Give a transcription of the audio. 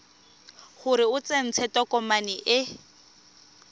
gore o tsentse tokomane e